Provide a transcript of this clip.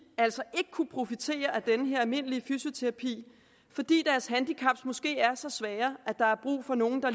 altså ikke kunnet profitere af den her almindelige fysioterapi fordi deres handicap måske er så svære at der er brug for nogle der